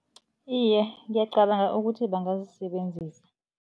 Iye, ngiyacabanga ukuthi bangazisebenzisa.